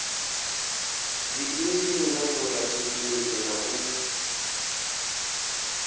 dziinzhinia na vhorathekhiniki na u